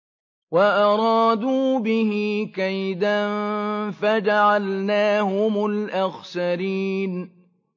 وَأَرَادُوا بِهِ كَيْدًا فَجَعَلْنَاهُمُ الْأَخْسَرِينَ